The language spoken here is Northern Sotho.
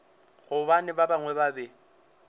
gobane ba bangwe ba be